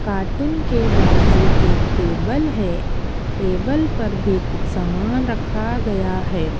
Cartoon के बाजू एक टेबल है टेबल पर भी कुछ सामान रखा गया है।